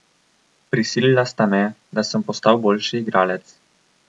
Prisilila sta me, da sem postal boljši igralec.